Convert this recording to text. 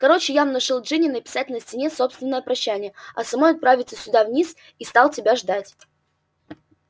короче я внушил джинни написать на стене собственное прощание а самой отправиться сюда вниз и стал тебя ждать